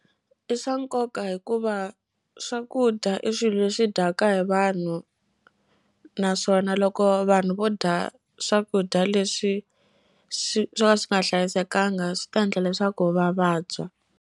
I swa nkoka hikuva swakudya i swilo leswi dyaka hi vanhu naswona loko vanhu vo dya swakudya leswi swi swo ka swi nga hlayisekanga swi ta endla leswaku va vabya.